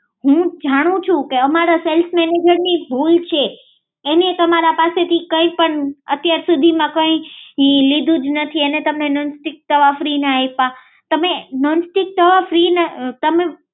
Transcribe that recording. હમમ હું જાણું છુ કે અમારા સેલ્સ મેનેજરની ભૂલ છે કે એને તમારી પાસેથી કંઈપણ અત્યારસુધીમાં કઈ લીધું જ નથી અને તમને નોન સ્ટીક તવા ફ્રિમાં આપ્યા